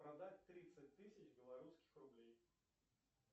продать тридцать тысяч белорусских рублей